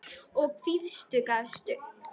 og hvítur gafst upp.